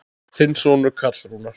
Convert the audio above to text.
Þinn sonur Karl Rúnar.